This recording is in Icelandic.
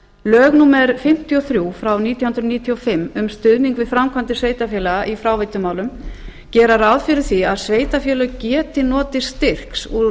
lög númer fimmtíu og þrjú frá nítján hundruð níutíu og fimm um stuðning við framkvæmdir sveitarfélaga í fráveitumálum gera ráð fyrir því að sveitarfélög geti notið styrks úr